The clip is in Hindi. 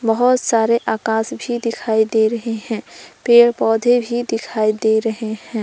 बहोत सारे आकाश भी दिखाई दे रहे हैं पेड़ पौधे भी दिखाई दे रहे हैं।